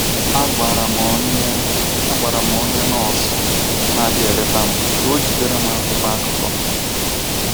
“ Agwara m onye Agwara m onye nọọsụ na - abịa eleta m ka o jidere m akwụkwọ akụkọ.